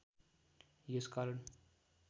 यस कारण